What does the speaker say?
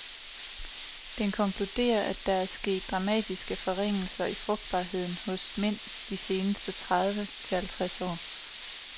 Den konkluderer, at der er sket dramatiske forringelser i frugtbarheden hos mænd de seneste tredive til halvtreds år.